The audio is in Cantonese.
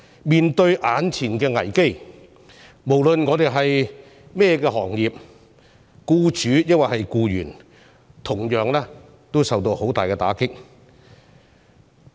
面對眼前的危機，無論我們從事哪個行業，是僱主或僱員，都同樣受到很大打擊。